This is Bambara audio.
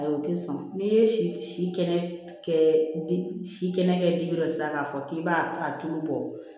Ayi o tɛ sɔn n'i ye si si kɛnɛ kɛ si kɛnɛ kɛbila k'a fɔ k'i b'a a tulu bɔ